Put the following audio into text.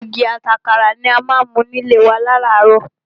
Ògì ati àkàrà ni a má ń mu ní ilé wa láràárọ̀.